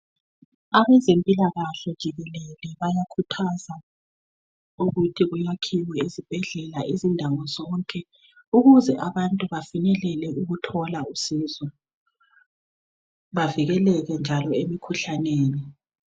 Abezimpilakahle jikelele bayakhuthaza ukuthi kuyakhiwe izibhedlela izindawo zonke ukuze abantu bafinyelele ukuthola usizo bavikeleke njalo emikhuhlaneni.